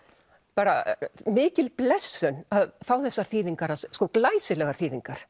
bara mikil blessun að fá þessar þýðingar hans sko glæsilegar þýðingar